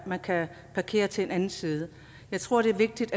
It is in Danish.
man kan parkere til en anden side jeg tror det er vigtigt